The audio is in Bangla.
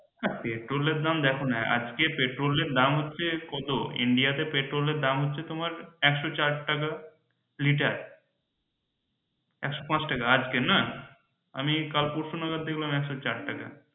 হ্যাঁ পেট্রোল এর দাম দেখো না আজকে পেট্রোল এর দাম কত India তে পেট্রোল এর দাম হচ্ছে কত India তে পেট্রোল এর দাম হচ্ছে তোমার একশো চার টাকা লিটার একশো পাঁচ টাকা আজকের না আমি কাল পরশু নাগাদ দেখলাম একশো চার টাকা।